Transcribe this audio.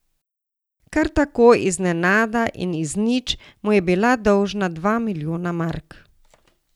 Kar tako, iznenada in iz nič, mu je bila dolžna dva milijona mark.